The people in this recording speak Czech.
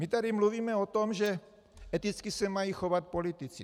My tady mluvíme o tom, že eticky se mají chovat politici.